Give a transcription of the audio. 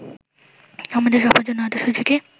আমাদের সবার জন্য আদর্শ জুটি